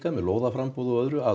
með lóðaframboð og öðru að